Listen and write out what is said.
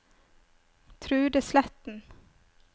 Trude Sletten